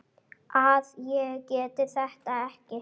að ég geti þetta ekki.